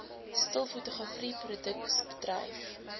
stil fotografie produksiebedryf